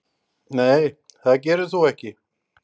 Nei það gerir þú ekki.